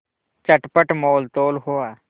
चटपट मोलतोल हुआ